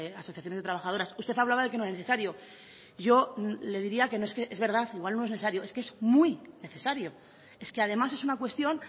asociaciones de trabajadoras usted hablaba de que no era necesario yo le diría que no es que igual no es necesario es que es muy necesario es que además es una cuestión